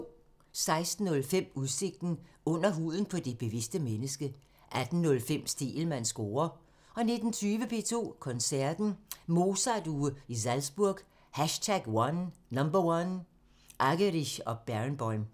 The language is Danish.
16:05: Udsigten – Under huden på det bevidste menneske 18:05: Stegelmanns score (tir) 19:20: P2 Koncerten – Mozart-uge i Salzburg #1 – Argerich & Barenboim